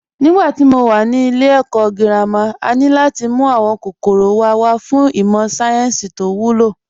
Nígbà tí mo wà ní ilé ẹ̀kọ́ girama, a ní láti mú àwọn kòkòrò wa wá fún ìmọ̀ sáyẹ́ǹsì tó wúlò